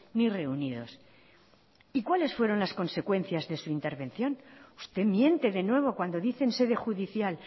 ni reunidos y cuáles fueron las consecuencias de su intervención usted miente de nuevo cuando dice en sede judicial